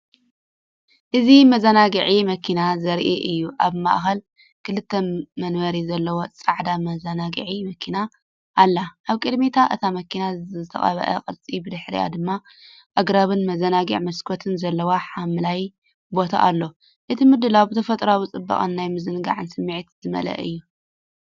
እዚ መዘናግዒ መኪና ዘርኢ እዩ። ኣብ ማእከል ክልተ መንበር ዘለዋ ጻዕዳ መዘናግዒ መኪና ኣላ። ኣብ ቅድሚ እታ መኪና ዝተቐብአ ቅርጺ፡ብድሕሪኡ ድማ ኣግራብን መዘናግዒ መስኮትን ዘለዎ ሓምላይ ቦታ ኣሎ። እቲ ምድላው ብተፈጥሮኣዊ ጽባቐን ናይ ምዝንጋዕ ስምዒትን ዝመልአ እዩ።